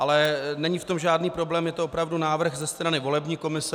Ale není v tom žádný problém, je to opravdu návrh ze strany volební komise.